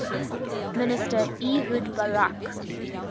minister ehud barak